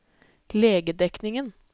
legedekningen